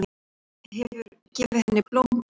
Þú hefur gefið henni blóm, var það ekki?